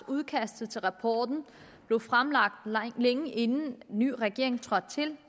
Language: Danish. udkastet til rapporten blev fremlagt længe inden den nye regering trådte til